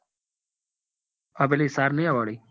આ પેલી સામિયા વાળી